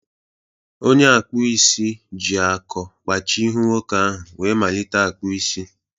Onye akpụ isi ji akọ kpachie ihu nwoke ahụ wee malite akpụ isi.